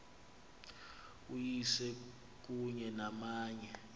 uyise kunye namanye